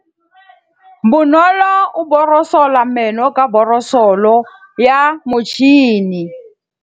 Bonolô o borosola meno ka borosolo ya motšhine.